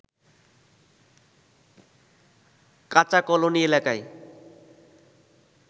কাচা কলোনী এলাকায়